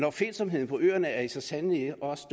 opfindsomheden på øerne er så sandelig også